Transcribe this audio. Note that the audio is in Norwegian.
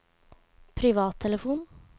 privattelefon